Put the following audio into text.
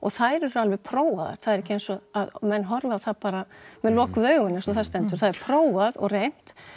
þær eru alveg prófaðar það er ekki eins og menn horfi á það bara með lokuð augun eins og það stendur það er prófað og reynt